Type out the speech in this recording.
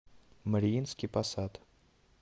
мариинский посад